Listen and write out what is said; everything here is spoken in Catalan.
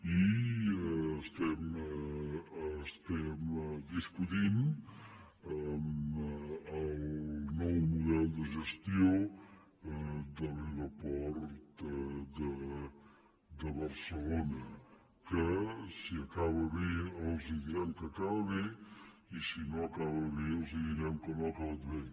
i estem discutint el nou model de gestió de l’aeroport de barcelona que si acaba bé els direm que acaba bé i si no acaba bé els direm que no ha acabat bé